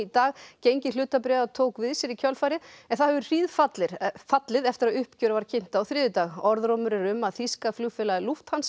dag gengi hlutabréfa tók við sér í kjölfarið en það hefur hríðfallið hríðfallið eftir að uppgjör var kynnt á þriðjudag orðrómur er um að þýska flugfélagið